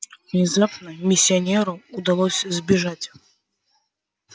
внезапно миссионеру удалось сбежать